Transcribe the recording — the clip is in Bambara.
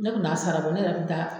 Ne kun t'a sarabɔ ne yɛrɛ kun bɛ taa